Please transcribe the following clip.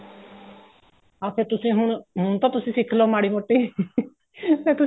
ਹਾਂ ਫੇਰ ਤੁਸੀਂ ਹੁਣ ਹੁਣ ਤਾਂ ਸਿਖਲੋ ਮਾੜੀ ਮੋਟੀ ਫੇਰ ਤੁਸੀਂ